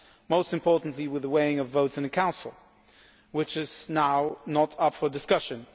most importantly, with the weighting of votes in the Council, which is not now up for discussion.